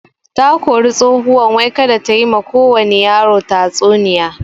Takori tsohuwan wai kada tayi ma kowani yaro tatsuniya